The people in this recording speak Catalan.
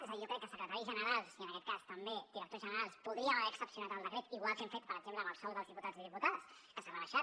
és a dir jo crec que secretaris generals i en aquest cas també directors generals podríem haver excepcionat el decret igual que hem fet per exemple amb el sou dels diputats i diputades que s’ha rebaixat